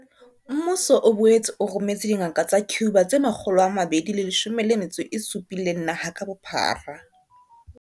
Mmuso o boetse o rometse dingaka tsa Cuba tse 217 naha ka bophara.